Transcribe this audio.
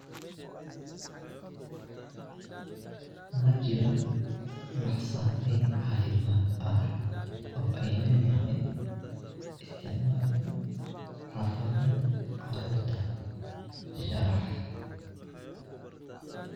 Majira wax saameyn cafimadh ah o ey ledhahay isticmalka xafaayafa carurta sharax